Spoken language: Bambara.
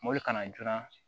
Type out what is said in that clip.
Mɔbili kana joona